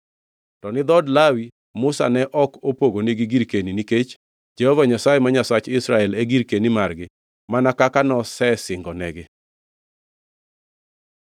To ni dhood Lawi, Musa ne ok opogonigi girkeni, nikech Jehova Nyasaye, ma Nyasach Israel, e girkeni margi, mana kaka nosesingonegi.